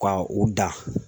Ka u dan .